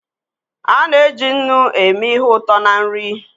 A na-eji nnu eme ihe ụtọ na nri.